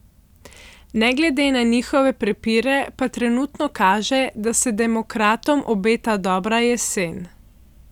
Ne glede na njihove prepire pa trenutno kaže, da se demokratom obeta dobra jesen.